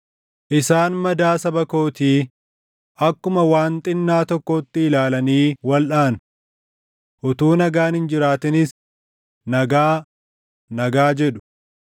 Isaan madaa saba kootii, akkuma waan xinnaa tokkootti ilaalanii walʼaanu. Utuu nagaan hin jiraatinis “Nagaa, nagaa” jedhu.